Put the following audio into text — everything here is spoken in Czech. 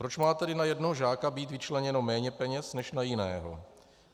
Proč má tedy na jednoho žáka být vyčleněno méně peněz než na jiného?